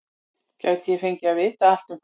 Gæti ég fengið að vita allt um fálka?